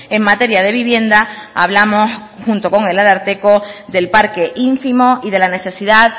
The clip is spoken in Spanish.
en materia de vivienda hablamos junto con el ararteko del parque ínfimo y de la necesidad